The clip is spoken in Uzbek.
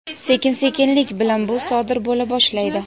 sekin-sekinlik bilan bu sodir bo‘la boshlaydi.